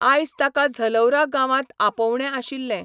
आयज ताका झलौरा गांवांत आपोवणें आशिल्लें.